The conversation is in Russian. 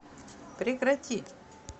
прекрати